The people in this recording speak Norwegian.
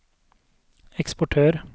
eksportør